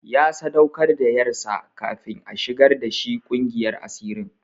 Ya sadaukar da ƴarsa kafin a shigar da shi ƙungiyar asirin.